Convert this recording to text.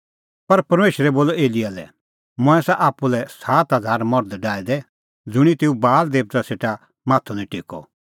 पर परमेशरै बोलअ एलियाह लै मंऐं आसा आप्पू लै सात हज़ार मर्ध डाहै दै ज़ुंणी तेऊ बाल देअ सेटा माथअ निं टेक्कअ